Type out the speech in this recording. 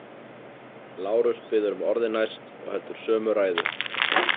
Lárus biður um orðið næst og heldur sömu ræðu.